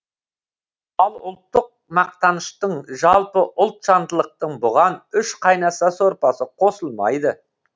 ал ұлттық мақтаныштың жалпы ұлтжандылықтың бұған үш қайнаса сорпасы қосылмайды